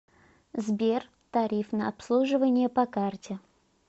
сбер тариф на обслуживание по карте